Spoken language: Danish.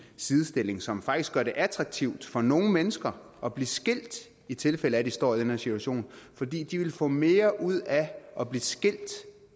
sidestilling som faktisk gør det attraktivt for nogle mennesker at blive skilt i tilfælde af at de står i den her situation fordi de ville få mere ud af at blive skilt